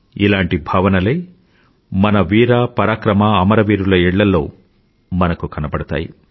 ఇలాంటి భావనలే మన వీర పరాక్రమఅమరవీరుల ఇళ్ళలో మనకు కనబడుతాయి